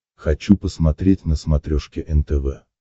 хочу посмотреть на смотрешке нтв